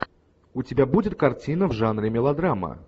у тебя будет картина в жанре мелодрама